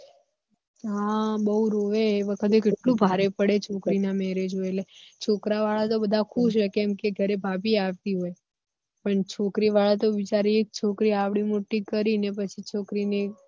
હ બહુ રોવે એ વખતે કેટલું ભારે પડે છોકરી ના marriage ના હોય એટલે છોકરા વાળા તો બધા ખુશ હોય કે ઘર ભાભી આવતી હોય પણ છોકરી વાળા તો બિચારી એક છોકરી આવડી મોટી કરી ને પછી છોકરી ને